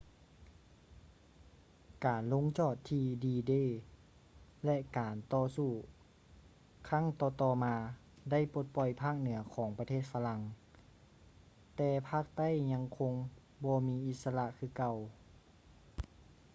ການລົງຈອດທີ່ດີ-ເດ d-day ແລະ ການຕໍ່ສູ້ຄັ້ງຕໍ່ໆມາໄດ້ປົດປ່ອຍພາກເໜືອຂອງປະເທດຝຣັ່ງ ແຕ່ພາກໃຕ້ຍັງຄົງບໍ່ມີອິດສະຫຼະຄືເກົ່າ